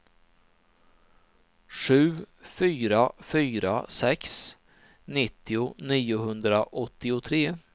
sju fyra fyra sex nittio niohundraåttiotre